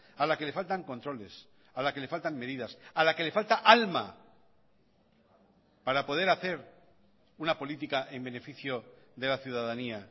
a la que le faltan controles a la que le faltan medidas a la que le falta alma para poder hacer una política en beneficio de la ciudadanía